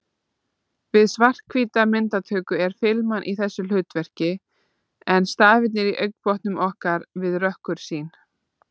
Við svarthvíta myndatöku er filman í þessu hlutverki en stafirnir í augnbotnum okkar við rökkursýn.